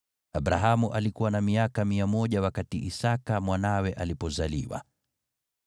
Abrahamu alikuwa na miaka 100 wakati Isaki mwanawe alipozaliwa.